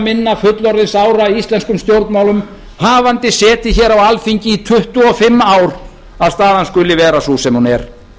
minna fullorðinsára íslenskum stjórnmálum hafandi setið hér á alþingi í tuttugu og fimm ár að staðan skuli vera sú sem hún er